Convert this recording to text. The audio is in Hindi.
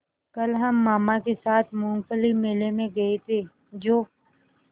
कल हम मामा के साथ मूँगफली मेले में गए थे जो